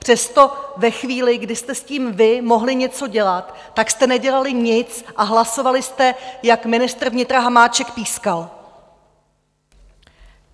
Přesto ve chvíli, kdy jste s tím vy mohli něco dělat, tak jste nedělali nic a hlasovali jste, jak ministr vnitra Hamáček pískal.